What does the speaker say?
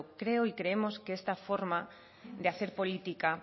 creo y creemos que esta forma de hacer política